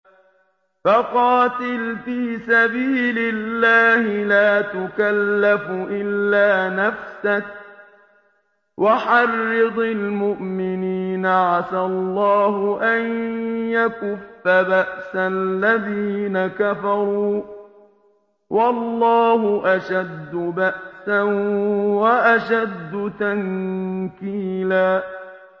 فَقَاتِلْ فِي سَبِيلِ اللَّهِ لَا تُكَلَّفُ إِلَّا نَفْسَكَ ۚ وَحَرِّضِ الْمُؤْمِنِينَ ۖ عَسَى اللَّهُ أَن يَكُفَّ بَأْسَ الَّذِينَ كَفَرُوا ۚ وَاللَّهُ أَشَدُّ بَأْسًا وَأَشَدُّ تَنكِيلًا